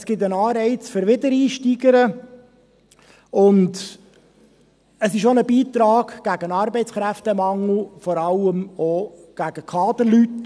Es gibt einen Anreiz für Wiedereinsteigerinnen und es ist auch ein Beitrag gegen den Arbeitskräftemangel, vor allem auch unter Kaderleuten.